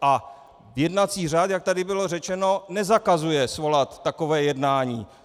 A jednací řád, jak tady bylo řečeno, nezakazuje svolat takové jednání.